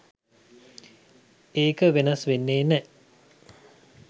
ඒක වෙනස් වෙන්නෙ නෑ.